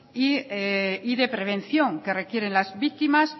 y de prevención que requieren las víctimas